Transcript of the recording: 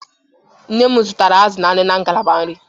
Nne m zụtara azụ na anụ na ngalaba nri.